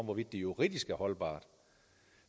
hvorvidt det juridisk er holdbart